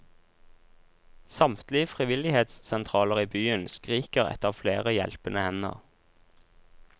Samtlige frivillighetssentraler i byen skriker etter flere hjelpende hender.